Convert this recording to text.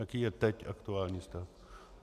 Jaký je teď aktuální stav.